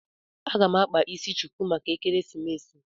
A ga m akpa isi chuku maka ekeresimesi